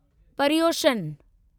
परिउशन